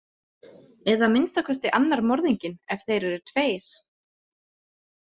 Eða að minnsta kosti annar morðinginn, ef þeir eru tveir.